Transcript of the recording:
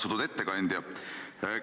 Austatud ettekandja!